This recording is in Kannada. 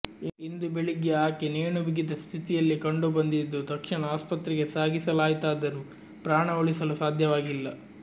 ಇಂದು ಬೆಳಿಗ್ಗೆ ಆಕೆ ನೇಣು ಬಿಗಿದ ಸ್ಥಿತಿಯಲ್ಲಿ ಕಂಡು ಬಂದಿದ್ದು ತಕ್ಷಣ ಆಸ್ಪತ್ರೆಗೆ ಸಾಗಿಸಲಾಯಿತಾದರೂ ಪ್ರಾಣ ಉಳಿಸಲು ಸಾಧ್ಯವಾಗಿಲ್ಲ